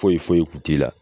Foyi foyi kun t'i la